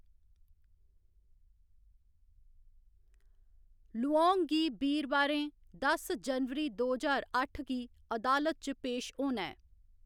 लुऔंग गी बीरवारें दस जनवरी, दो ज्हार अट्ठ गी अदालत च पेश होना ऐ।